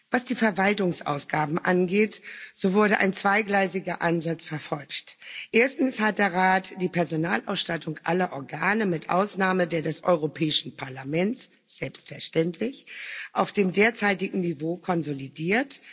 Was die Verwaltungsausgaben angeht, so wurde ein zweigleisiger Ansatz verfolgt. Erstens hat der Rat die Personalausstattung aller Organe mit Ausnahme der des Europäischen Parlaments selbstverständlich auf dem derzeitigen Niveau konsolidiert.